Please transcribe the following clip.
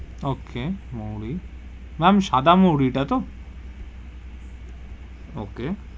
Okay মোহরী, ma'am সাদা মোহরী টা তো? Okay.